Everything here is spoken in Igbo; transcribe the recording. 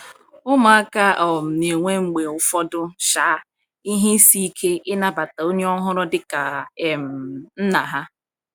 ụmụaka um na-enwe mgbe ụfọdụ um ihe ịsị ike ịna bata onye ọhuru di ka um nna ha